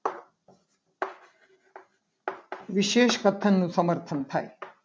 વિશેષ પતન નું સમર્થન થાય.